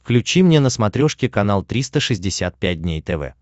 включи мне на смотрешке канал триста шестьдесят пять дней тв